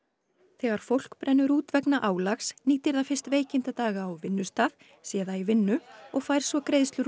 þegar fólk brennur út vegna álags nýtir það fyrst veikindadaga á vinnustað sé það í vinnu og fær svo greiðslur úr